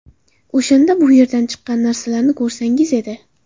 O‘shanda bu yerdan chiqqan narsalarni ko‘rsangiz edi.